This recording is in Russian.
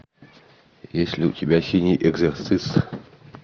есть ли у тебя синий экзорцист